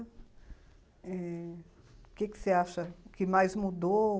É, o que você acha que mais mudou?